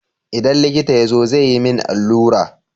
Idan likita ya zo, zai yi min allura.